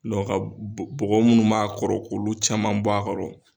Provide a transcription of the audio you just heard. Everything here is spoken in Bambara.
ka bɔ bɔgɔ minnu b'a kɔrɔ k'olu caman b'a kɔrɔ